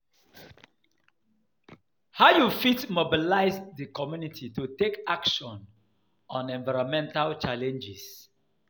how you fit mobilize di community to take action on environmental challenges?